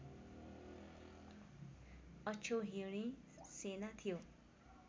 अक्षौहिणी सेना थियो